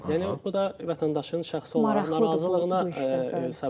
Yəni bu da vətəndaşın şəxsi olaraq narazılığına səbəb olur.